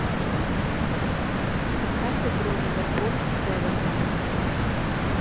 поставь игру ливерпуль с эвертоном